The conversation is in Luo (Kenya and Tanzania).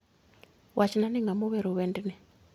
Wachna ni ng'a ma owero wendni